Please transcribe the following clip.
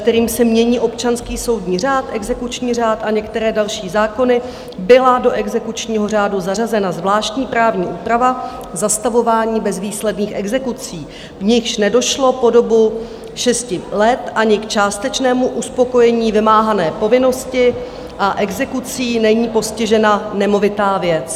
, kterým se mění občanský soudní řád, exekuční řád a některé další zákony, byla do exekučního řádu zařazena zvláštní právní úprava zastavování bezvýsledných exekucí, v nichž nedošlo po dobu 6 let ani k částečnému uspokojení vymáhané povinnosti a exekucí není postižena nemovitá věc.